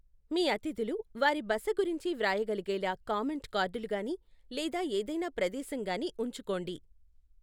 మీ అతిథులు వారి బస గురించి వ్రాయగలిగేలా కామెంట్ కార్డులు గానీ లేదా ఏదైనా ప్రదేశం గానీ ఉంచుకోండి.